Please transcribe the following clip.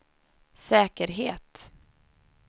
säkerhet